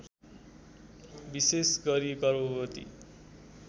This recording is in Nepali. विशेष गरी गर्भवती